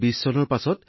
এইটো বৰ ভাল কথা হৈছে